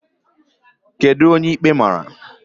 Kedu onye ikpe mara?